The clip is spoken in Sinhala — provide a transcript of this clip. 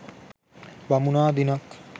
බමුණා දිනක්